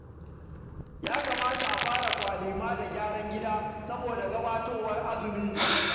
Ya kamata a fara kwalema da gyaran gida saboda gabatowar azumi